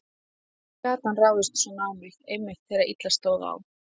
Hvernig gat hann ráðist svona á mig, einmitt þegar illa stóð á?